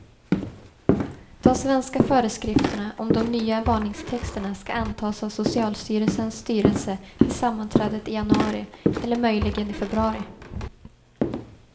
De svenska föreskrifterna om de nya varningstexterna ska antas av socialstyrelsens styrelse vid sammanträdet i januari, eller möjligen i februari.